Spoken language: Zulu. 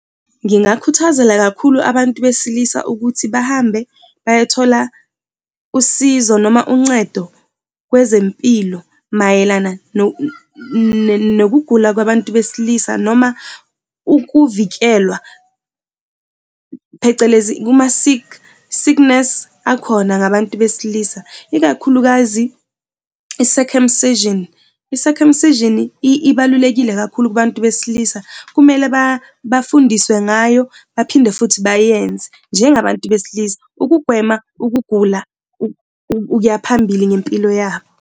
Ngingakukhuthazela kakhulu abantu besilisa ukuthi bahambe bayothola usizo noma uncedo kwezempilo mayelana nokugula kwabantu besilisa noma ukuvikelwa, phecelezi kuma-sick, sickness akhona ngabantu besilisa, ikakhulukazi i-circumcision. I-circumcision ibalulekile kakhulu kubantu besilisa kumele bafundiswe ngayo baphinde futhi bayenze njengabantu besilisa ukugwema ukugula ukuya phambili ngempilo yabo.